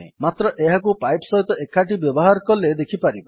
ମାତ୍ର ଏହାକୁ ପାଇପ୍ ସହିତ ଏକାଠି ବ୍ୟବହାର କଲେ ଦେଖିପାରିବା